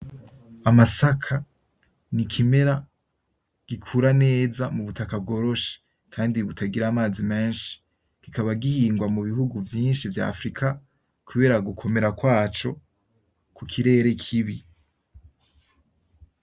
Amasaka ni ikimera gikura neza mubutaka bworoshe kandi butagira amazi menshi , kikaba gihingwa mu bihugu vyinshi vya afirika kubera gukomera kwaco kukirere kibi.